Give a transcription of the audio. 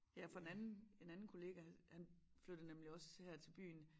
Ja for en anden en anden kollega han flyttede nemlig også her til byen